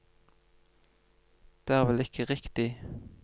Det er vel ikke riktig?